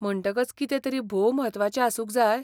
म्हणटकच कितें तरी भोव म्हत्वाचें आसूंक जाय?